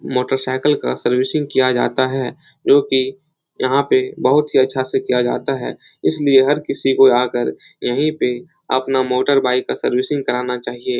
Motorcycle का servicing किया जाता है। जो की यहाँ पे बहुत ही अच्छा से किया जाता है । इसलिए हर किसी को आकर यहीं पे अपना मोटरबाइक का सर्विसिंग कराना चाहिए।